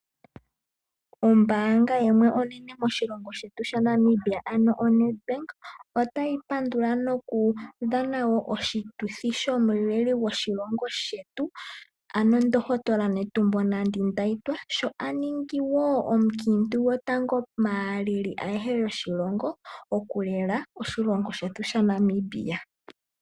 Ombaanga yimwe onene moshilongo shetu shaNamibia ano oNedBank. Otayi pandula nokudhana wo oshituthi shomuleli gwoshilongo shetu. Ano omundohotola Netumbo Nandi -Ndaitwah sho aningi wo omukiintu gwotango maaleli ayehe yoshilongo okulela oshilongo shetu sha Namibia.